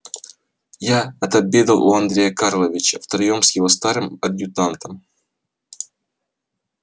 я отобедал у андрея карловича втроём с его старым адъютантом